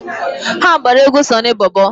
Ha gbara egwu Sọnị Bọbọ.